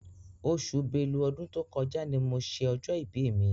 Oṣù Bélú ọdún tó kọjá ni mo ṣe ọjọ́ ibi mi.